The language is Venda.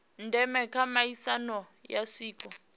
ndeme kha miaisano ya zwiko